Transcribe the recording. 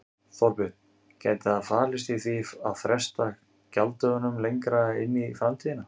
Þorbjörn: Gæti það falist í því að fresta gjalddögunum lengra inn í framtíðina?